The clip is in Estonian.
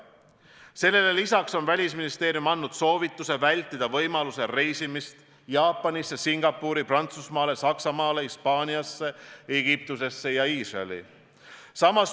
Sellele lisaks on Välisministeerium andnud soovituse vältida reisimist Jaapanisse, Singapuri, Prantsusmaale, Saksamaale, Hispaaniasse, Egiptusesse ja Iisraeli.